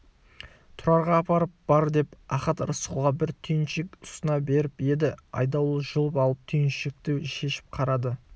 тұрарға апарып бер деп ахат рысқұлға бір түйіншек ұсына беріп еді айдауыл жұлып алып түйіншекті шешіп қарады